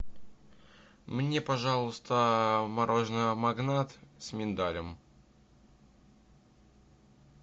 мне пожалуйста мороженое магнат с миндалем